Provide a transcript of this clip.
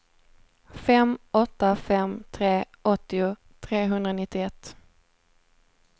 fem åtta fem tre åttio trehundranittioett